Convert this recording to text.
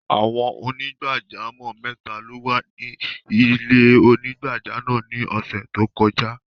Awọn onígbàjàmọ́ mẹta ló wà ni ilẹ̀-onígbàjàmọ́ náà ni ọṣẹ́ tó kọja.